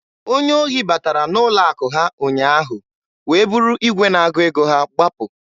Onye ohi batara n'ụlọ akụ ha ụnyaahụ wee buru igwe na-agụ ego ha gbapụ.